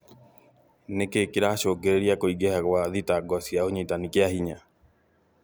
Nĩkĩ kĩracũngĩrĩria kũingĩha gwa thitango cia ũnyitani kĩahinya?